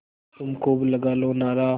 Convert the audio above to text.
तुम खूब लगा लो नारा